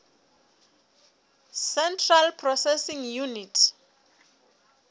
central processing unit